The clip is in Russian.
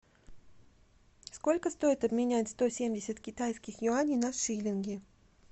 сколько стоит обменять сто семьдесят китайских юаней на шиллинги